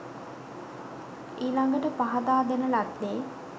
ඊළඟට පහදා දෙන ලද්දේ